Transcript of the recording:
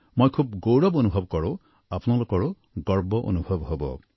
মই খুব গৌৰৱ অনুভৱ কৰোঁ আপোনালোকৰো গৌৰৱ অনুভৱ হব